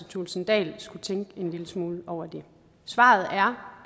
thulesen dahl skulle tænke en lille smule over det svaret er